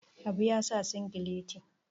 habu ya sa sigileti